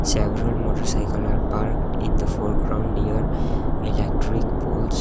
several motorcycle are parked in the foreground near electric poles.